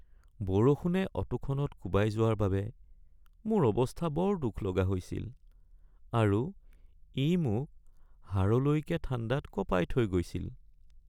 বৰষুণে অটোখনত কোবাই যোৱাৰ বাবে মোৰ অৱস্থা বৰ দুখলগা হৈছিল আৰু ই মোক হাড়লৈকে ঠাণ্ডাত কঁপাই থৈ গৈছিল।